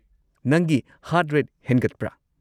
ꯅꯪꯒꯤ heart rate ꯍꯦꯟꯒꯠꯄ꯭ꯔꯥ?